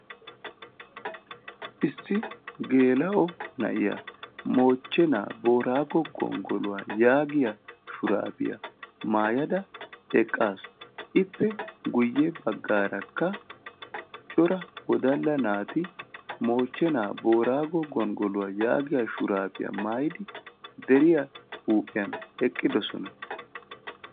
issi geela"o na'iyaa mochche naa moorago gongoluwaa yagiyaa shurabiyaa maayada eqqasu ippekka guyessara corra naati mooche naa moorago gongoluwaa yagiyaa xuufiyaa maayidi deriyaa huuphiyani eqidossona.